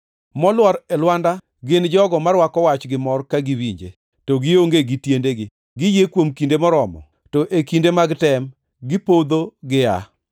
Molwar e lwanda gin jogo ma rwako wach gi mor ka giwinje, to gionge gi tiendegi. Giyie kuom kinde moromo, to e kinde mag tem gipodho giaa.